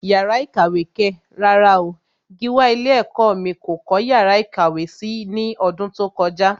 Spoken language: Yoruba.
Yàrá ìkàwé kẹ̀! rárá o, Gíwá ilé ẹ̀kọ́ mí kò kọ́ yàrá ìkàwé si ní ọdún tó kọjá.